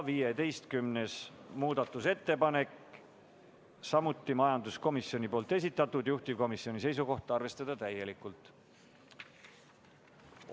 15. muudatusettepanek on samuti majanduskomisjoni esitatud, juhtivkomisjoni seisukoht on arvestada seda täielikult.